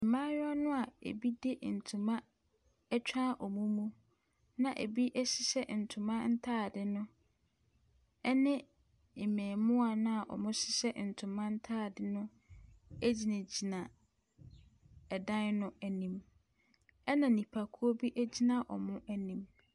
Mmaayewa no a ebi de ntoma atwa wɔn mu na ebi hyɛ ntoma ntadeɛ no, ne mmaamuwa a wɔhyehyɛ ntoma ntaade no egyinagina ɛdan no anim. Ɛna nnipakuo bi gyina wɔn anim.